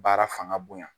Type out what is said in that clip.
Baara fanga bonya